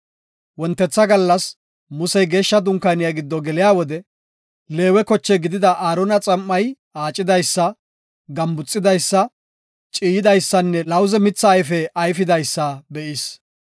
Wontetha gallas Musey geeshsha dunkaaniya giddo geliya wode Leewe koche gidida Aarona xam7ay aacidaysa, gambuxidaysa, ciiyidaysanne lawuze mitha ayfe ayfidaysa be7is.